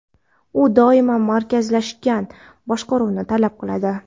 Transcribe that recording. u doimo markazlashgan boshqaruvni talab qiladi.